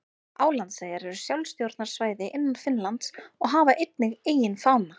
Álandseyjar eru sjálfstjórnarsvæði innan Finnlands og hafa einnig eigin fána.